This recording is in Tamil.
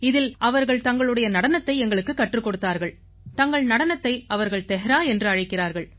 இதில் அவர்கள் தங்களுடைய நடனத்தை எங்களுக்குக் கற்றுக் கொடுத்தார்கள் தங்கள் நடனத்தை அவர்கள் தெஹ்ரா என்று அழைக்கிறார்கள்